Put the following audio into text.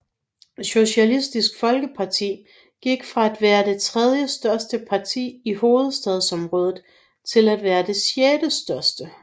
Socialistisk Folkeparti gik fra at være det tredjestørste parti i hovedstadsområdet til at være det sjettestørste